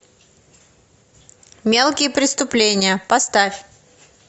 мелкие преступления поставь